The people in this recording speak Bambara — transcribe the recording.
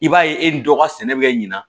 I b'a ye e ni dɔ ka sɛnɛ bɛ ɲina